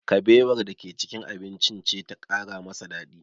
Kabewar da ke cikin abincin ce ta ƙara masa daɗi